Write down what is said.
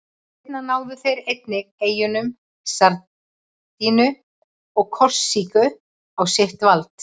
Seinna náðu þeir einnig eyjunum Sardiníu og Korsíku á sitt vald.